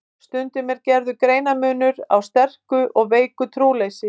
Stundum er gerður greinarmunur á sterku og veiku trúleysi.